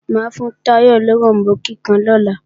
Mà á fún Táyọ̀ loròmbó kíkan lọ́la